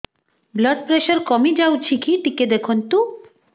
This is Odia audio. ବ୍ଲଡ଼ ପ୍ରେସର କମି ଯାଉଛି କି ଟିକେ ଦେଖନ୍ତୁ